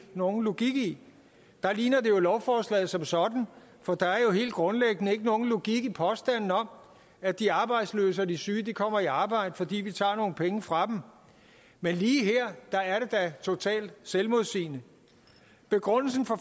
nogen logik i der ligner det jo lovforslaget som sådan for der er helt grundlæggende ikke nogen logik i påstanden om at de arbejdsløse og de syge kommer i arbejde fordi vi tager nogle penge fra dem men lige her er det da totalt selvmodsigende begrundelsen for